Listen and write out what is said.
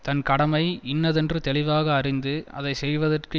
தன் கடமை இன்னதென்று தெளிவாக அறிந்து அதை செய்வதற்கு